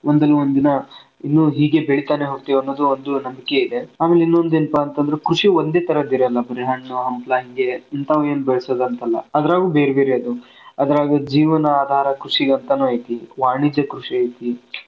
ಒಂದಲ್ಲ ಒಂದ್ ದಿನಾ ಇನ್ನು ಹೀಗೆ ಬೆಳಿತಾನೇ ಹೋಗ್ತಿವಿ ಅನ್ನೋದು ಒಂದು ನಂಬಿಕೆ ಇದೆ. ಆಮೇಲೆ ಇನ್ನೊಂದು ಏನಪಾ ಅಂತಂದ್ರೆ ಕೃಷಿ ಒಂದೇ ತರದ್ದ ಇರಲ್ಲಾ ಬರೇ ಹಣ್ಣು ಹಂಪಲಾ ಹಿಂಗೆ ಇಂತಾವನ್ನೆ ಬೆಳಸುದ ಅಂತಲ್ಲ ಅದ್ರಾಗು ಬೇರ್ಬೇರೆ ಅದಾವ ಅದ್ರಾಗ ಜೀವನ ಆಧಾರಕೃಷಿ ಅಂತಾನು ಐತಿ, ವಾಣಿಜ್ಯ ಕೃಷಿ ಐತಿ.